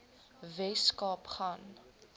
wes kaap gaan